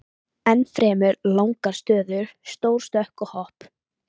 Ennfremur langar stöður, stór stökk og hopp.